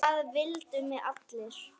Það vildu mig allir.